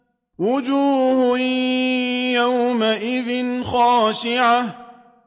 وُجُوهٌ يَوْمَئِذٍ خَاشِعَةٌ